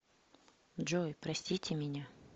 джой простите меня